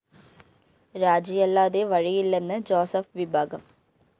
രാജിയല്ലാതെ വഴിയില്ലെന്ന് ജോസഫ് വിഭാഗം